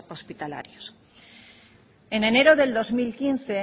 hospitalarios en enero del dos mil quince